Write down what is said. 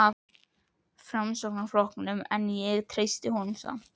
Framsóknarflokknum, en ég treysti honum samt.